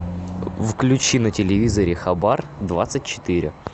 включи на телевизоре хабар двадцать четыре